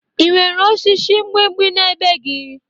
Ị nwere osisi mgbimgbi n'ebe gị?